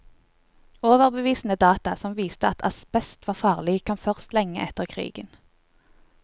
Overbevisende data som viste at asbest var farlig, kom først lenge etter krigen.